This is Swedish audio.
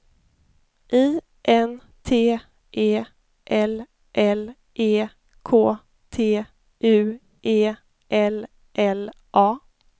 I N T E L L E K T U E L L A